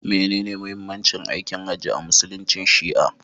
Menene muhimmancin aikin hajji a musuluncin shi'a?